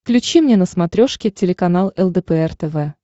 включи мне на смотрешке телеканал лдпр тв